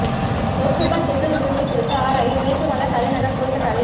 லோக்சபா தேர்தல் முடிவுகள் குறித்து ஆராய மேற்கு வங்க தலைநகர் கோல்கட்டாவில்